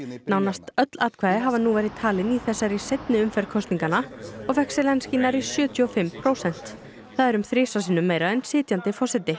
nánast öll atkvæði hafa nú verið talin í þessari seinni umferð kosninganna og fékk Zelenský nærri sjötíu og fimm prósent það er um þrisvar sinnum meira en sitjandi forseti